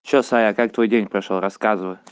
что саша как твой день прошёл рассказывай